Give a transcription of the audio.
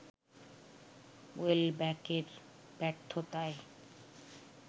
ওয়েলব্যাকের ব্যর্থতায়